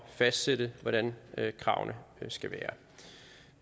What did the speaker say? fastsætte hvordan kravene skal være